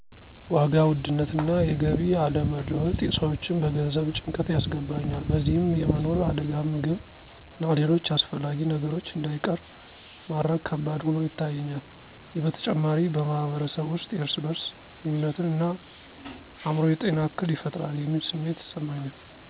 ዋጋ ውድነት እና የገቢ አለመለወጥ ሰዎችን በገንዘብ ጭንቀት ያስገባኛል በዚህም የመኖር አደጋ ምግብ እና ሌሎች አስፈላጊ ነገሮች እንዳይቀር ማድረግ ከባድ ሆኖ ይታየኛል። ይህ በተጨማሪ በማህበረሰብ ውስጥ የእርስ በርስ ግንኙነትን እና አእምሮ ጤና እክል ይፈጥራል የሚል ስሜት ይሰማኛል።